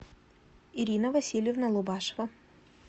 ирина васильевна лубашева